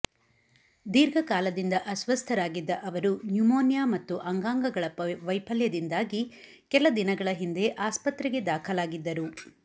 ದೀರ್ಘಕಾಲದಿಂದ ಅಸ್ತಸ್ಥರಾಗಿದ್ದ ಅವರು ನ್ಯುಮೋನಿಯ ಮತ್ತು ಅಂಗಾಂಗಗಳ ವೈಫಲ್ಯದಿಂದಾಗಿ ಕೆಲ ದಿನಗಳ ಹಿಂದೆ ಆಸ್ಪತ್ರೆಗೆ ದಾಖಲಾಗಿದ್ದರು